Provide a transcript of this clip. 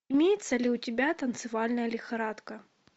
имеется ли у тебя танцевальная лихорадка